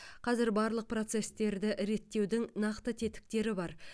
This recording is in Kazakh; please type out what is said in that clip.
қазір барлық процестерді реттеудің нақты тетіктері бар